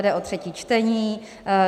Jde o třetí čtení.